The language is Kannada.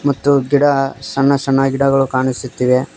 ಮತ್ತು ಗಿಡ ಸಣ್ಣ ಸಣ್ಣ ಗಿಡಗಳು ಕಾಣಿಸುತ್ತಿವೆ.